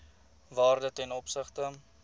waarde ten opsigte